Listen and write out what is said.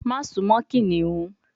Maṣe sun mo kiniun